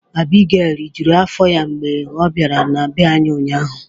Abigail rijuru afọ ya mgbe ọ bịara na bee anyị ụnyaahụ.